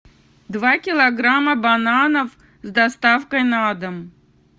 два килограмма бананов с доставкой на дом